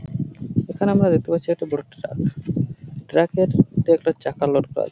এখানে আমরা দেখতে পাচ্ছি একটা বড় ট্রাক । ট্রাক -এর মধ্যে একটা চাকা লোড করা আ--